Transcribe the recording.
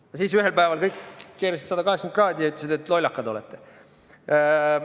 Ja siis ühel päeval kõik keerasid end 180 kraadi ja ütlesid, et lollakad olete.